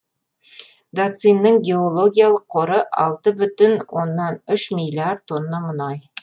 дацинның геологиялық қоры алты бүтін оннан үш миллиард тонна мұнай